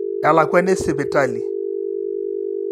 elakuani esipitali